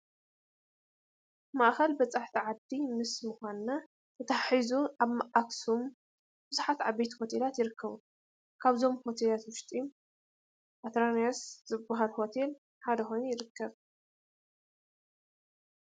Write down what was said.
ማእኸል በፃሕቲ ዓዲ ምስ ምዃና ተተሓሒዙ ኣብ ኣኽሱም ብዙሓት ዓበይቲ ሆቴላት ይርከቡ፡፡ ካብዞም ሆቴላት ውሽጢ ኣትራኖንስ ዝበሃል ሆቴል ሓደ ኮይኑ ንረኽቦ፡፡